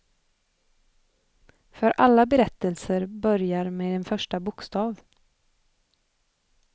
För alla berättelser börjar med en första bokstav.